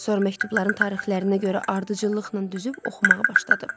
Sonra məktubların tarixlərinə görə ardıcıllıqla düzüb oxumağa başladım.